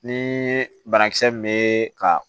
Ni banakisɛ min bɛ ka